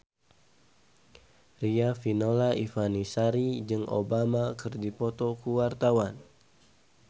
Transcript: Riafinola Ifani Sari jeung Obama keur dipoto ku wartawan